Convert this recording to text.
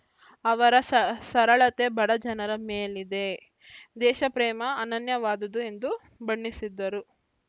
ಅವರ ಸ ಸರಳತೆ ಬಡ ಜನರ ಮೇಲಿದೆ ದಯೆ ದೇಶ ಪ್ರೇಮ ಅನನ್ಯವಾದುದು ಎಂದು ಬಣ್ಣಿಸಿದರು